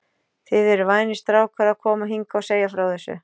Þið eruð vænir strákar að koma hingað og segja frá þessu.